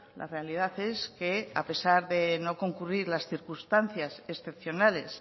la realidad es que a pesar de no concurrir las circunstancias excepcionales